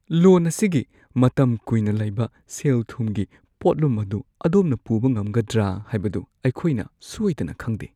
ꯂꯣꯟ ꯑꯁꯤꯒꯤ ꯃꯇꯝ ꯀꯨꯏꯅ ꯂꯩꯕ ꯁꯦꯜ-ꯊꯨꯝꯒꯤ ꯄꯣꯠꯂꯨꯝ ꯑꯗꯨ ꯑꯗꯣꯝꯅ ꯄꯨꯕ ꯉꯝꯒꯗ꯭ꯔꯥ ꯍꯥꯏꯕꯗꯨ ꯑꯩꯈꯣꯏꯅ ꯁꯣꯏꯗꯅ ꯈꯪꯗꯦ꯫